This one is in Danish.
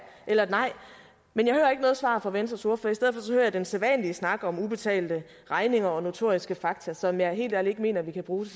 eller et nej men jeg hører ikke noget svar fra venstres ordfører i den sædvanlige snak om ubetalte regninger og notoriske fakta som jeg helt ærligt ikke mener vi kan bruge